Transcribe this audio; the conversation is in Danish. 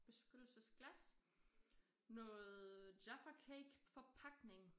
Beskyttelsesglas noget Jaffa cake forpakning